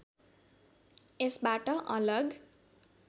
यसबाट अलग